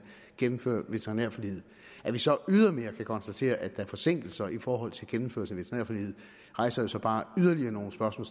gennemfører veterinærforliget at vi så ydermere kan konstatere at der er forsinkelser i forhold til gennemførelsen af veterinærforliget rejser så bare yderligere nogle spørgsmål